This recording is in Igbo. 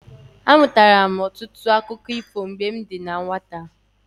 Amụtara m ọtụtụ akụkọ ifo mgbe m dị na nwata.